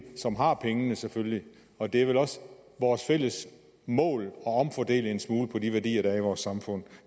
som har pengene selvfølgelig og det er vel også vores fælles mål at omfordele en smule på de værdier der er i vores samfund